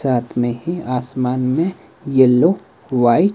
साथ में ही आसमान में येलो व्हाइट --